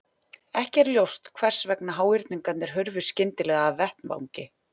Ekki er ljóst hvers vegna háhyrningarnir hurfu skyndilega af vettvangi.